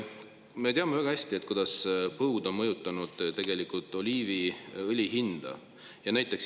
Me teame väga hästi, kuidas põud on mõjutanud oliiviõli hinda.